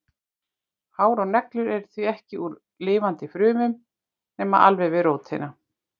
Hár og neglur eru því ekki úr lifandi frumum nema alveg við rótina.